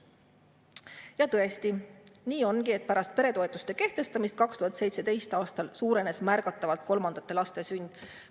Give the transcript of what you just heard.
Ja tõesti, nii ongi, et pärast peretoetuste kehtestamist 2017. aastal suurenes märgatavalt kolmandate laste sündide arv.